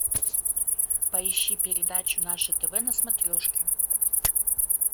поищи передачу наше тв на смотрешке